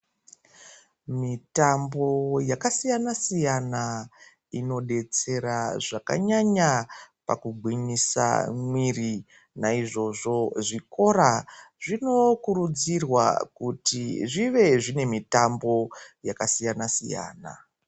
Mitambo yakasiyana siyana inodetsera zvakanyanyabpakugwinyisa mwiri naizvozvo zvikora zvinokurudzirwa kuti zvive zVine mitambo yakasiyana siyana.